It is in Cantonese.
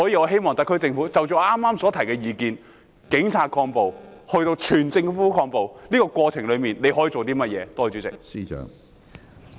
希望特區政府就我剛才所提出的意見，即是由警察抗暴推動至整個政府抗暴，在這個過程中，他可以做甚麼？